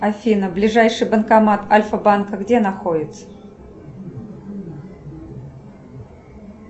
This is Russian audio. афина ближайший банкомат альфа банка где находится